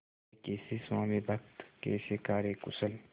वे कैसे स्वामिभक्त कैसे कार्यकुशल